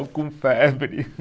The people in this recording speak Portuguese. Com febre